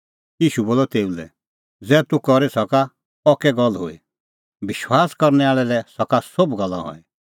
ईशू पुछ़अ ज़ै तूह करी सका अह कै गल्ल हुई विश्वास करनै आल़ै लै सका सोभ गल्ला हई